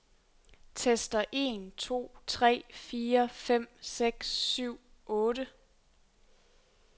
Tester en to tre fire fem seks syv otte.